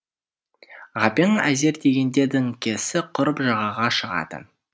ғабең әзер дегенде діңкесі құрып жағаға шығады